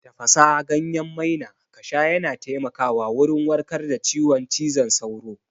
Tafasa ganyen maina kasha yana taimaka wa wurin warkar da ciwon cizon sauro